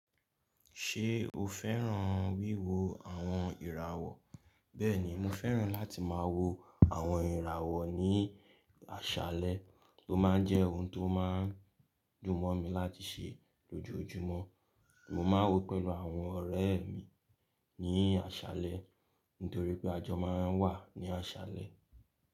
Ṣé o fẹ́ràn wíwo àwọn ìràwọ̀? Bẹ́ẹ̀ni, mo fẹ́ràn láti máa wo àwọn ìràwọ̀ ní àṣálẹ́, o máa ń jẹ́ ohun ti ó máa ń dùn mọ́ mi láti ṣe lójoójúmọ́. Mo máa ń wò pẹ̀lú àwọn ọ̀rẹ́ mi ní àṣálẹ́ nítorí pé àjọ máa ń wà ní àṣálẹ́.